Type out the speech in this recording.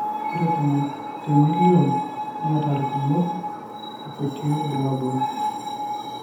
ore tomon temilion neeta ilkumok ilkutii bulabul.